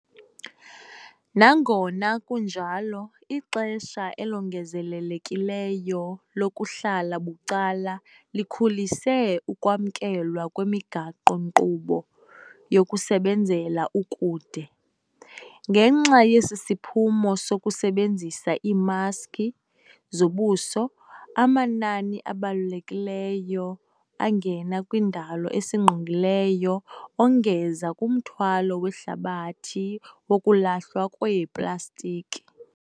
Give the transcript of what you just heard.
Nangona kunjalo, ixesha elongezelelekileyo lokuhlala bucala likhulise ukwamkelwa kwemigaqo-nkqubo yokusebenzela ukude. Ngenxa yesiphumo sokusebenzisa iimaski zobuso, amanani abalulekileyo angena kwindalo esingqongileyo, ongeza kumthwalo wehlabathi wokulahlwa kweeplastiki.